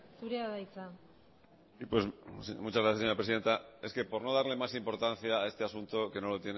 zurea da hitza sí pues muchas gracias señora presidenta es que por no darle más importancia a este asunto que no lo